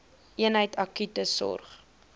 eenheid akute sorg